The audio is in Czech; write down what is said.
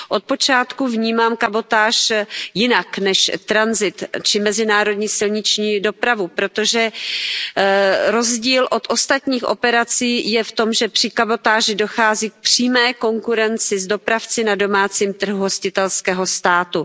Od počátku vnímám kabotáž jinak než tranzit či mezinárodní silniční dopravu, protože rozdíl od ostatních operací je v tom, že při kabotáži dochází k přímé konkurenci s dopravci na domácím trhu hostitelského státu.